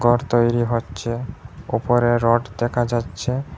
ঘর তৈরি হচ্ছে উপরে রড দেখা যাচ্ছে।